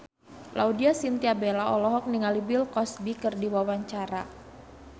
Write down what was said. Laudya Chintya Bella olohok ningali Bill Cosby keur diwawancara